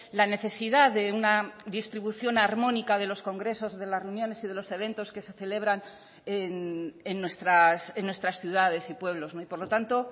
la necesidad de una distribución harmónica de los congresos de las reuniones y de los eventos que se celebran en nuestras ciudades y pueblos y por lo tanto